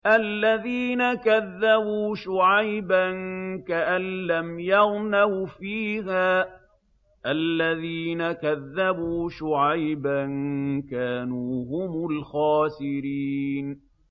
الَّذِينَ كَذَّبُوا شُعَيْبًا كَأَن لَّمْ يَغْنَوْا فِيهَا ۚ الَّذِينَ كَذَّبُوا شُعَيْبًا كَانُوا هُمُ الْخَاسِرِينَ